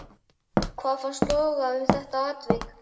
Hvað fannst loga um það atvik?